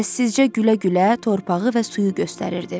Səssizcə gülə-gülə torpağı və suyu göstərirdi.